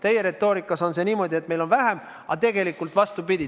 Teie retoorikas on see niimoodi, et meil on vähem, aga tegelikult on vastupidi.